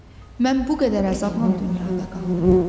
Mən bu qədər əzabla dünyada qaldım.